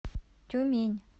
тюмень